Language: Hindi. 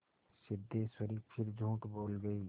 सिद्धेश्वरी फिर झूठ बोल गई